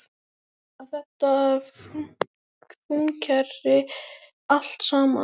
Að þetta fúnkeri allt saman.